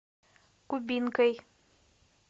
кубинкой